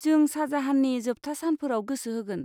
जों शाहजाहाननि जोबथा सानफोराव गोसो होगोन।